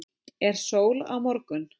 er sól á morgun